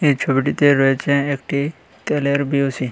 এই ছবিটিতে রয়েছে একটি তেলের বি_ও_সি ।